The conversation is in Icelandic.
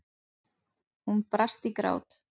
Hún brast í grát.